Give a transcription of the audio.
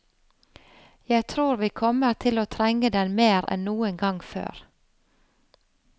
Jeg tror vi kommer til å trenge den mer enn noen gang før.